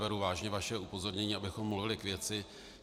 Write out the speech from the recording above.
Beru vážně vaše upozornění, abychom mluvili k věci.